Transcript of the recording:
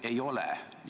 Ei ole!